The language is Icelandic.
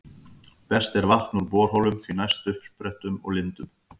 Best er vatn úr borholum, því næst uppsprettum og lindum.